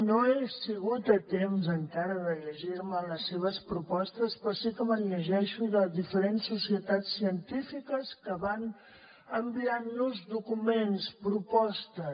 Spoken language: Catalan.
no he sigut a temps encara de llegir me les seves propostes però sí que me’n llegeixo de diferents societats científiques que van enviant nos documents propostes